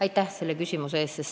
Aitäh selle küsimuse eest!